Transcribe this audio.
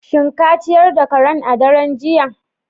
Shin ka ciyar da karan a daren jiya?